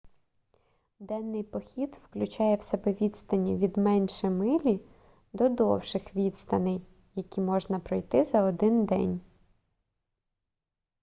денний похід включає в себе відстані від менше милі до довших відстаней які можна пройти за один день